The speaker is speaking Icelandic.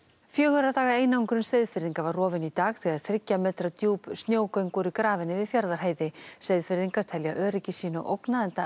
fjögurra daga einangrun Seyðfirðinga var rofin í dag þegar þriggja metra djúp snjógöng voru grafin yfir Fjarðarheiði Seyðfirðingar telja öryggi sínu ógnað enda